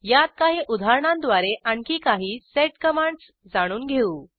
यात काही उदाहरणांद्वारे आणखी काही सेड कमांडस जाणून घेऊ